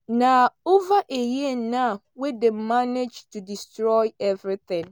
“na over a year now wey dem manage to destroy evritin.”